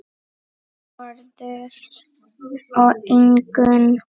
Þórður og Ingunn.